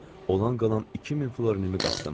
Olan qalan 2000 florinimi qapdım.